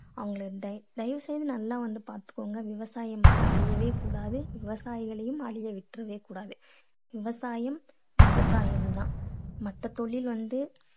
அவங்களை தய~ தயவு செஞ்சு நல்லா வந்து பார்த்துக்கோங்க. விவசாயம் வந்து அழியவே கூடாது. விவசாயிகளையும் அழிய விட்டுடவே கூடாது. விவசாயம் விவசாயம் தான். மத்த தொழில் வந்து